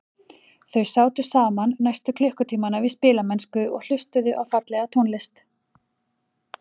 Þau sátu saman næstu klukkutímana við spilamennsku og hlustuðu á fallega tónlist.